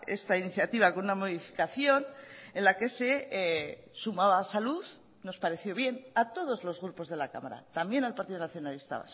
esta iniciativa con una modificación en la que se sumaba salud nos pareció bien a todos los grupos de la cámara también al partido nacionalista